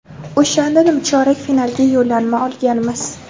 O‘shanda nimchorak finalga yo‘llanma olganmiz.